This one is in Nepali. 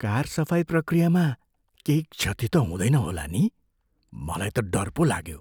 कार सफाइ प्रक्रियामा केही क्षति त हुँदैन होला नि? मलाई त डर पो लाग्यो।